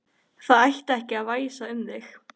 Það ætti ekki að væsa um þig.